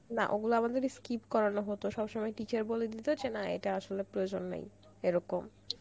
না ওগুলো আমাদেরকে স্কিপ করানো হতো সবসময় teacher আসলে বলে দিত ওগুলো করার কোন প্রয়োজন নেই, এরকম